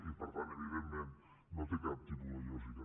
i per tant evidentment no té cap tipus de lògica